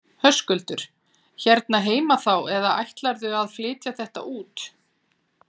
Höskuldur: Hérna heima þá eða ætlarðu að flytja þetta út?